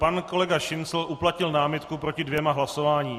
Pan kolega Šincl uplatnil námitku proti dvěma hlasováním.